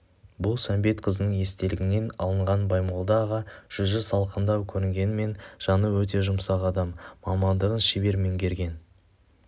бұл сәмбетқызының естелігінен алынған баймолда аға жүзі салқындау көрінгенімен жаны өте жұмсақ адам мамандығын шебер меңгерген